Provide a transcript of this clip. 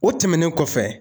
O tɛmɛnen kɔfɛ